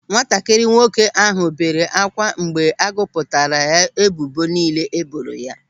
Nwatakịrị nwoke ahụ bere ákwà mgbe a gụpụtara ebubo niile e boro ya.